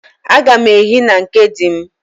Agam ehi na nke di m.